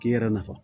K'i yɛrɛ nafa